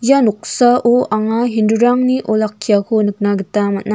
ia noksao anga hindu-rangni olakkiako nikna gita man·a.